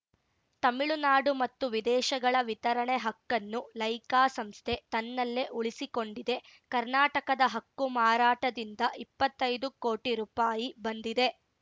ತಮಿಳುನಾಡು ಮತ್ತು ವಿದೇಶಗಳ ವಿತರಣೆ ಹಕ್ಕನ್ನು ಲೈಕಾ ಸಂಸ್ಥೆ ತನ್ನಲ್ಲೇ ಉಳಿಸಿಕೊಂಡಿದೆ ಕರ್ನಾಟಕದ ಹಕ್ಕು ಮಾರಾಟದಿಂದ ಇಪ್ಪತ್ತೈದು ಕೋಟಿ ರುಪಾಯಿ ಬಂದಿದೆ